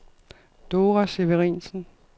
Dora Severinsen